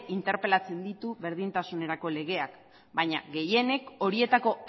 interpelatzen ditu berdintasun legeak baina gehienek horietako